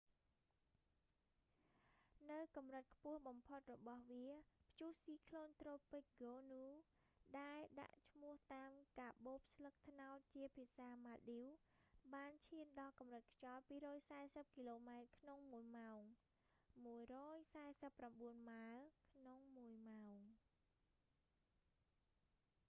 នៅកម្រិតខ្ពស់បំផុតរបស់វា ព្យុះស៊ីក្លូន​ត្រូពិក​ ហ្គោនូ tropical cyclone gonuដែល​​​ដាក់ឈ្មោះតាម​កាបូបស្លឹកត្នោតជាភាសាម៉ាល់ឌីវ​ ​បានឈាន​ដល់កម្រិតខ្យល់ 240 គីឡូម៉ែត្រក្នុងមួយម៉ោង 149 ម៉ាលយ៍​ ក្នុងមួយម៉ោង ។